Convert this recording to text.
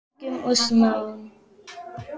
Í blygðun og smán.